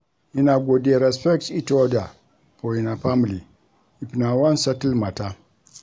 Una go dey respect each oda for una family if una wan settle mata.